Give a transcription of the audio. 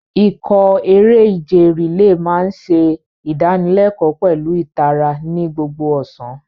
Ikọ̀ eré-ìje relay máa ń ṣe ìdánilẹ́kọ̀ọ́ pẹ̀lú ìtara ní gbogbo ọ̀sán.